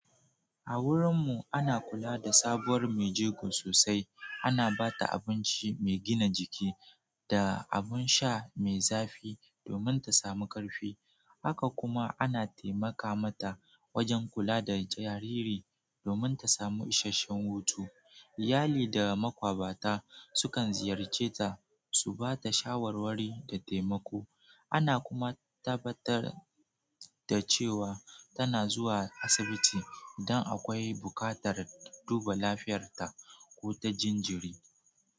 A wurin mu ana kula da sabuwar mai jego sosai. Ana ba ta abinci mai gina jiki da abin sha mai zafi domin ta samu ƙarfi. Haka kuma ana taimaka mata wajen kula da jariri domin ta samu isasshen hutu. Iyali da makwabta sukan ziyarce ta su ba ta shawarwari da taimako. Ana kuma tabbatar da cewa tana zuwa asibiti idan akwai buƙatar duba lafiyarta ko ta jinjiri.